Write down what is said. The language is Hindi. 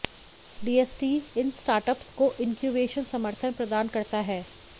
डीएसटी इन स्टार्टअप्स को इनक्यूवेशन समर्थन प्रदान करता है